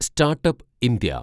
start-up India